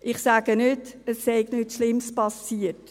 Ich sage nicht, es sei nichts Schlimmes passiert.